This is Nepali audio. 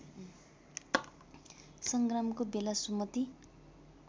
सङ्ग्रामको बेला सुमति